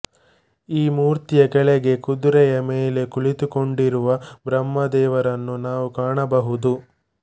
ಈ ಮೂರ್ತಿಯ ಕೆಳಗೆ ಕುದುರೆಯ ಮೇಲೆ ಕುಳಿತುಕೊಂಡಿರುವ ಬ್ರಹ್ಮದೇವರನ್ನು ನಾವು ಕಾಣಬಹುದು